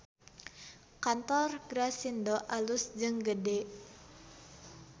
Kantor Grasindo alus jeung gede